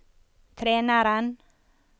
treneren